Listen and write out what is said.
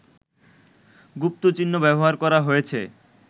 গুপ্তচিহ্ন ব্যবহার করা হয়েছে